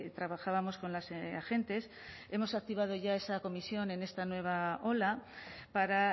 trabajábamos con las agentes hemos activado ya esa comisión en esta nueva ola para